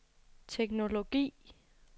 teknologi